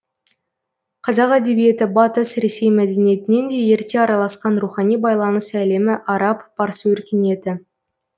қазақ әдебиеті батыс ресей мәдениетінен де ерте араласқан рухани байланыс әлемі араб парсы өркениеті